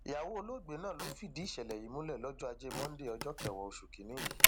ìyàwó olóògbé náà ló fìdí ìṣẹlẹ yìí múlẹ lọjọ ajé monde ọjọ kẹwàá oṣù kìínní yìí